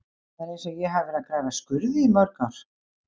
Það er eins og ég hafi verið að grafa skurði í mörg ár.